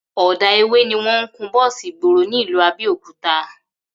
Ò̩dà ewé ni wó̩n ń kun bó̩ò̩sì ìgboro ní ìlú Abé̩òkúta